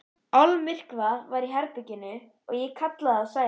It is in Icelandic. Almyrkvað var í herberginu og ég kallaði á Sævar.